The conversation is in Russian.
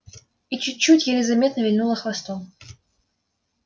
и чуть-чуть еле заметно вильнула хвостом